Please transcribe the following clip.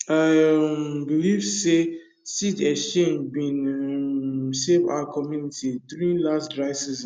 i um believe say seed exchange bin um save our community during last dry season